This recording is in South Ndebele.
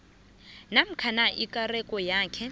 namkha ikareko yakhe